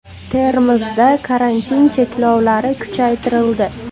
Termizda karantin cheklovlari kuchaytirildi.